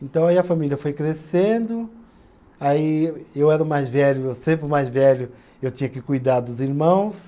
Então aí a família foi crescendo, aí eu era o mais velho, sempre o mais velho, eu tinha que cuidar dos irmãos.